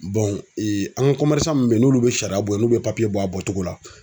ee an ka min n'olu bɛ sariya bɔ n'u bɛ bɔ a bɔcogo la.